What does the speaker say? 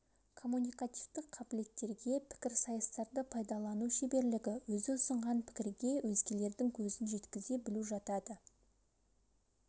коммуникативтік қабілеттерге пікірсайыстарды пайдалану шеберлігі өзі ұсынған пікірге өзгелердің көзін жеткізе білу жатады